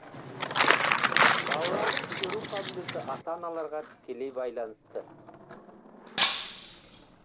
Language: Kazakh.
балалардың көру қабілеті ата аналарға тікелей байланысты